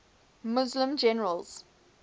muslim generals